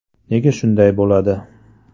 Nega shunday bo‘ladi?